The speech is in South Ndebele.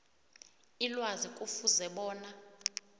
ilwazi kufuze bona